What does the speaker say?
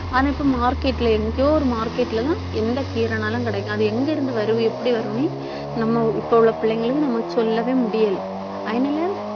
ஆனா, இப்ப market ல எங்கயோ ஒரு market ல எல்லாம் எந்த கீரைன்னாலும் கிடைக்கும். அது எங்கிருந்து வரும் எப்படி வருன்னு நம்ம இப்ப உள்ள பிள்ளைங்களுக்கு நம்ம சொல்லவே முடியலை அதனால